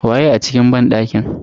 Waye a cikin banɗakin?